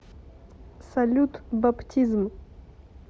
салют баптизм